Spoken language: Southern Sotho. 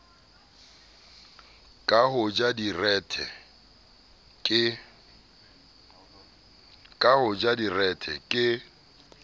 ka ho ja direthe ke